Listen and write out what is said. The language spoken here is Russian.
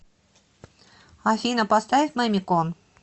афина поставь мамикон